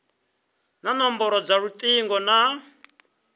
na nomboro dza lutingo na